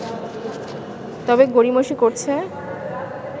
তবে গড়িমসি করছে